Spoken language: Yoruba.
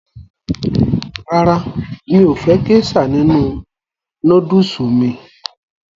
Rárá, mi ò fẹ́ gésà nínu nódùsù mí